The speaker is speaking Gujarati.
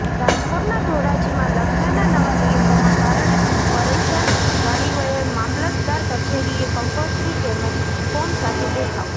રાજકોટના ધોરાજીમાં લગ્નના નવા નિયમોના કારણે પરેશાન વાલીઓએ મામલતદાર કચેરીએ કંકોત્રી તેમજ ફોર્મ સાથે દેખાવો